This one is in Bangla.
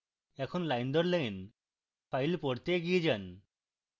এখন line দর line files পড়তে এগিয়ে যান